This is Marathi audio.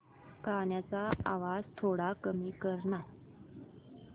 गाण्याचा आवाज थोडा कमी कर ना